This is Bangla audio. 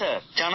হ্যাঁ স্যার